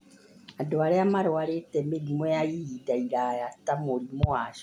andũ arĩa marwarĩte mĩrimũ ya ihind iraya ta mũrimũ wa cukari